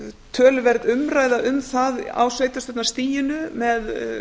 töluverð umræða um það á sveitarstjórnarstiginu með